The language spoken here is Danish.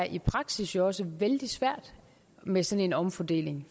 i praksis også vældig svært med sådan en omfordeling